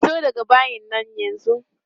Fito daga bayin nan yanzu!